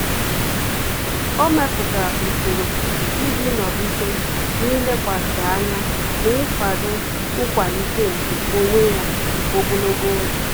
Ọ́ mèpụ̀tárà usoro iji nọ́gídé n’ílékwàsí ányá na íkwàdò nkwàlíté nke onwe ya ogologo oge.